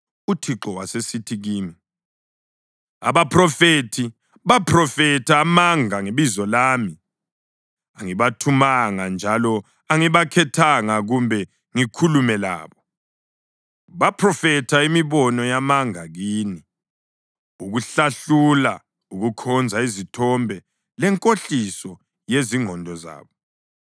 UThixo wasesithi kimi, “Abaphrofethi baphrofetha amanga ngebizo lami. Angibathumanga njalo angibakhethanga kumbe ngikhulume labo. Baphrofetha imibono yamanga kini, ukuhlahlula, ukukhonza izithombe lenkohliso yezingqondo zabo.